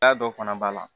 Ja dɔ fana b'a la